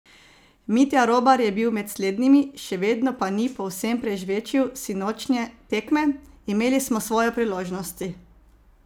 Mitja Robar je bil med slednjimi, še vedno pa ni povsem "prežvečil" sinočnje tekme: "Imeli smo svoje priložnosti.